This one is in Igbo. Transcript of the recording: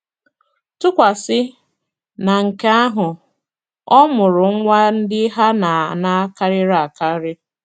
Tụkwasị na nke ahụ, ọmụrụ nwa ndị ha na - ana karịrị akarị.